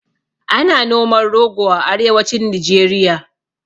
Ana noman rogo a arewacin nijeriya